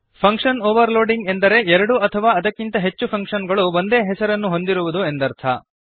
function overloading ಎಂದರೆ ಎರಡು ಅಥವಾ ಅದಕ್ಕಿಂತ ಹೆಚ್ಚು ಫಂಕ್ಶನ್ ಗಳು ಒಂದೇ ಹೆಸರನ್ನು ಹೊಂದಿರುವುದು ಎಂದರ್ಥ